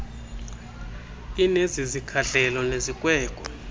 inezi zikhahlelo nezikweko